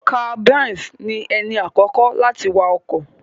Karl B3nz ni ẹni àkọ́kọ́ láti wa ọkọ̀.